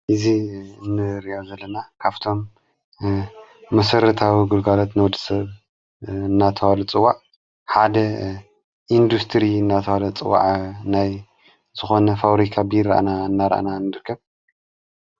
እዙ እንርእዮ ዘለና ካፍቶም ምሠር ታዊ ጕልጓለት ነወድ ሰብ እናተዋል ጽዋዕ ሓደ ኢንዱስትሪ ናተዋለ ጽዋዐ ናይ ዝኾነ ፋውሪካ ቢሮ እና እናራአና እንድርከብ